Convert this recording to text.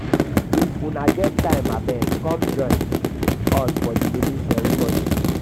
if una get time abeg come join abeg come join us for the naming ceremony